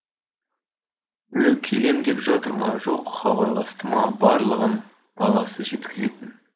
біреу келем деп жатыр ма жоқ хабарласты ма барлығын баласы жеткізетін